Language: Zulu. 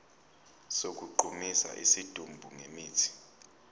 sokugqumisa isidumbu ngemithi